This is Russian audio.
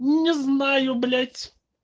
не знаю блять